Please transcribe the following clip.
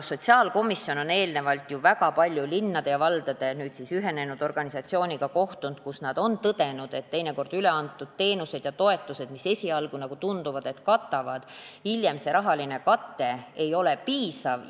Sotsiaalkomisjon on eelnevalt väga palju linnade ja valdade ühinenud organisatsiooniga kohtunud, kus nad on tõdenud, et teinekord üle antud teenuste ja toetuste raha, mis esialgu tundub katvat, nagu hiljem selgub, ei ole piisav.